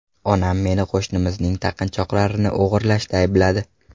Onam meni qo‘shnimizning taqinchoqlarini o‘g‘irlashda aybladi.